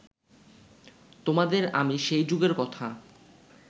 তোমাদের আমি সেই যুগের কথা